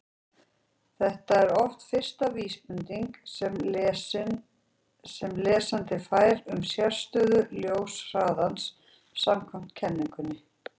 Þetta er oft fyrsta vísbendingin sem lesandi fær um sérstöðu ljóshraðans samkvæmt kenningunni.